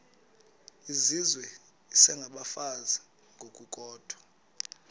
izizwe isengabafazi ngokukodwa